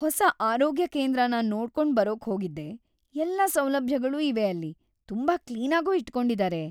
ಹೊಸ ಆರೋಗ್ಯ ಕೇಂದ್ರನ ನೋಡ್ಕೊಂಡ್‌ ಬರೋಕ್‌ ಹೋಗಿದ್ದೆ. ಎಲ್ಲ ಸೌಲಭ್ಯಗಳೂ ಇವೆ ಅಲ್ಲಿ, ತುಂಬಾ ಕ್ಲೀನಾಗೂ ಇಟ್ಕೊಂಡಿದಾರೆ.